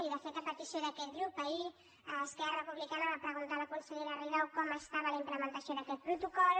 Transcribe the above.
i de fet a petició d’aquest grup ahir esquerra republicana va preguntar a la consellera rigau com estava la implementació d’aquest protocol